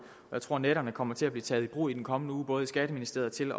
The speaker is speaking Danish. jeg tror at nætterne kommer til at blive taget i brug i den kommende uge både i skatteministeriet til